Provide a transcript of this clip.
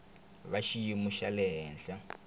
va xiyimo xa le henhla